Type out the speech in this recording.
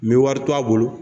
N be wari to a bolo